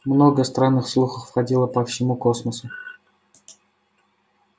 много странных слухов ходило по всему космосу